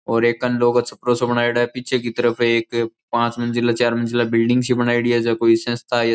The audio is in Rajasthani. और एक कनलो को छपरो सो बनायोडो है और पीछे की तरफ एक पांच मंजिला चार मंजिला बिल्डिंग सी बनायेड़ी है जको कोई संस्था --